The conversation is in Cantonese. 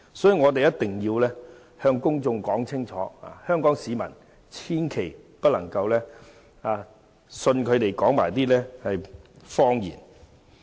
所以，我一定要向公眾說清楚，香港市民千萬不能相信他們所說的謊言。